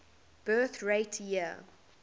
birth rate year